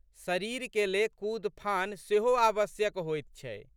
शरीरके ले कूदफान सेहो आवश्यक होइत छै।